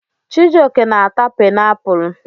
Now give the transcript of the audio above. Chijioke na-ata painiapulu.